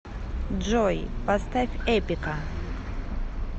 джой поставь эпика